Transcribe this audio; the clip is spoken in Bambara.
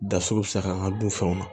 Da so bɛ se ka an ka dunfɛnw na